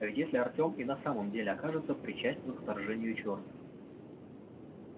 а ведь если артем и на самом деле окажется причастен к вторжению черных